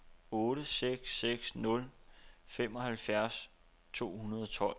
otte seks seks nul femoghalvfjerds to hundrede og tolv